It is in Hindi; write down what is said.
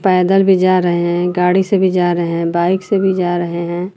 पैदल भी जा रहे है गाड़ी से भी जा रहे है बाइक से भी जा रहे है।